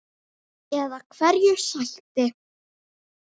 Eða hverju sætti?